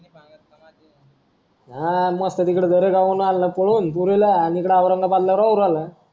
हां मस्त तिकडं दरेगाव वरून पळून आणलं पोरीला आणि इकडं औरंगाबादला राहू राहिला